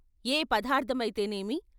ఏ పదార్థ మైతే నేమి?